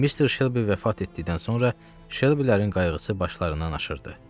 Mister Şelbi vəfat etdikdən sonra Şelbilərin qayğısı başlarından aşırdı.